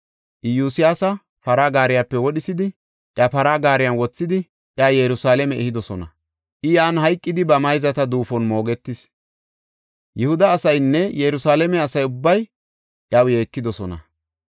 Iyosyaasa para gaariyape wodhisidi, iya para gaariyan wothidi, iya Yerusalaame ehidosona. I yan hayqidi ba mayzata duufon moogetis. Yihuda asaynne Yerusalaame asa ubbay iyaw yeekidosona.